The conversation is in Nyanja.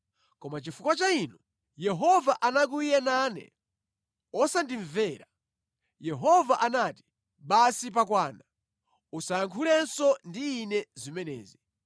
Koma chifukwa cha inu, Yehova anakwiya nane osandimvera. Yehova anati, “Basi pakwana, usayankhulenso ndi ine zimenezi.